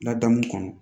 Ladamu kɔnɔ